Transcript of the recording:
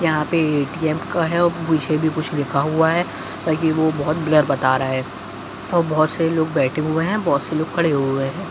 यहाँ पे ये ए.टी.एम. का है और पीछे भी कुछ लिखा हुआ है ताकि वह बहुत ब्लर बता रहा है और बहुत से लोग बैठे हुए हैं बहुत से लोग खड़े हुए हैं।